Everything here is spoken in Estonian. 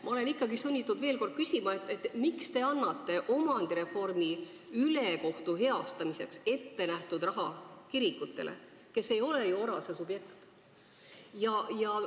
Ma olen ikkagi sunnitud veel kord küsima: miks te annate omandireformiga sündinud ülekohtu heastamiseks ettenähtud raha kirikutele, kes ei ole ju ORAS-e subjektid?